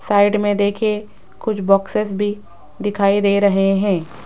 Side में देखिये कुछ बॉक्सेस भी दिखाई दे रहे हैं।